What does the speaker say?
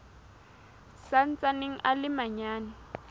sa ntsaneng a le manyane